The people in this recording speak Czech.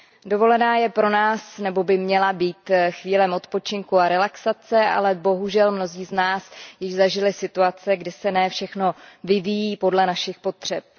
Dovolená je pro nás, nebo by měla být, chvílí odpočinku a relaxace, ale bohužel mnozí z nás již zažili situace, kdy se ne všechno vyvíjí podle našich potřeb.